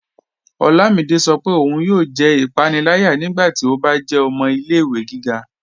Ọlámídé sọ́ pé óun yóò jẹ́ ipànìlàyà nígbàtí ó bá jẹ́ ọmọ ilẹ̀-ìwẹ̀ gíga